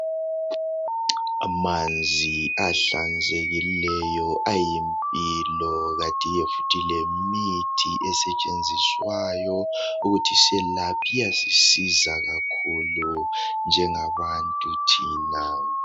Amanzi ahlanzekileyo ayimpilo kanti ke futhi lemithi esetshenziswayo ukuthi selaphe iyasisiza kakhulu njengabantu thina.